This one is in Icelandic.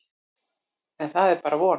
En það er bara von.